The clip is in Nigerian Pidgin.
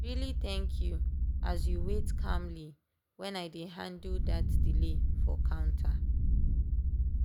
really thank you as you wait calmly when i dey handle dat delay for counter.